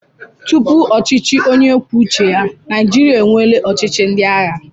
Tupu ọchịchị onye kwuo uche ya, Naịjirịa enweela ọchịchị ndị agha.